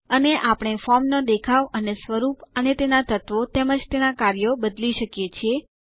અને આપણે ફોર્મનો દેખાવ અને સ્વરૂપ અને તેના તત્વો તેમજ તેના કાર્યો બદલી શકીએ છીએ